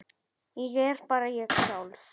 Ég er bara ég sjálf.